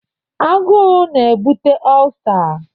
Aguu ga-ebute Ọlsa.